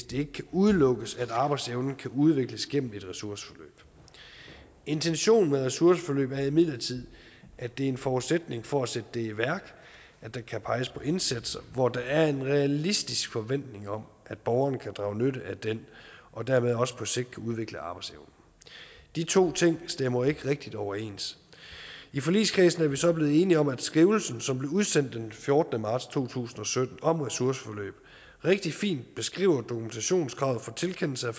det kan udelukkes at arbejdsevnen kan udvikles gennem et ressourceforløb intentionen med ressourceforløb er imidlertid at det er en forudsætning for at sætte det i værk at der kan peges på indsatser hvor der er en realistisk forventning om at borgeren kan drage nytte af den og dermed også på sigt kan udvikle arbejdsevnen de to ting stemmer ikke rigtig overens i forligskredsen er vi så blevet enige om at skrivelsen som blev udsendt den fjortende marts to tusind og sytten om ressourceforløb rigtig fint beskriver dokumentationskravet for tilkendelse af